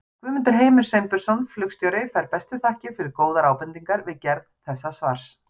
Guðmundur Heimir Sveinbjörnsson flugstjóri fær bestu þakkir fyrir góðar ábendingar við gerð þessa svars.